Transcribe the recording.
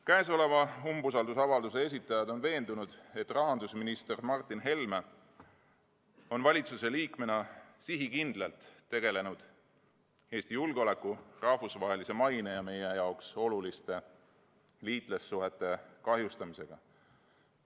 Käesoleva umbusaldusavalduse esitajad on veendunud, et rahandusminister Martin Helme on valitsuse liikmena sihikindlalt tegelenud Eesti julgeoleku, rahvusvahelise maine ja meie jaoks oluliste liitlassuhete kahjustamisega.